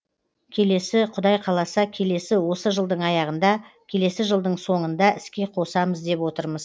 келесі құдай қаласа келесі осы жылдың аяғында келесі жылдың соңында іске қосамыз деп отырмыз